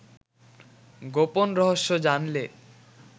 গোপন রহস্য জানলে